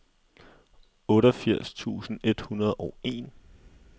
otteogfirs tusind et hundrede og en